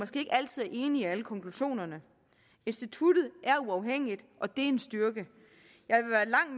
ikke altid er enig i alle konklusionerne instituttet er uafhængigt og det er en styrke